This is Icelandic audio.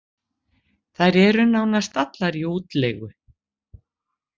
Þær eru nánast allar í útleigu